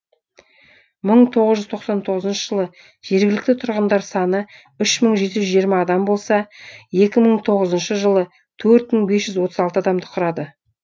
мың тоғыз жүз тоқсан тоғызыншы жылы жергілікті тұрғындар саны үш мың жеті жүз жиырма адам болса екі мың тоғызыншы жылы төрт мың бес жүз отыз алты адамды құрады